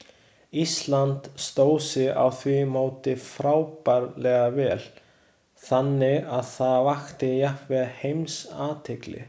Ísland stóð sig á því móti frábærlega vel, þannig að það vakti jafnvel alheimsathygli.